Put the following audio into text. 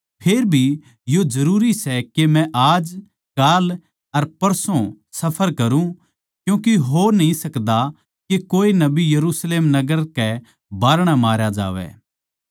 फेर भी यो जरूरी सै के मै आज काल अर परसो सफर करुँ क्यूँके हो न्ही सकदा के कोए नबी यरुशलेम नगर कै बाहरणै मारया जावै